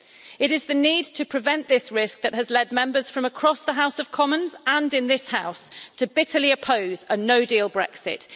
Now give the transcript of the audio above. It is the need to prevent this risk that has led Members from across the House of Commons and in this House bitterly to oppose a no deal Brexit.